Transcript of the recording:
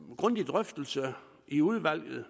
en grundig drøftelse i udvalget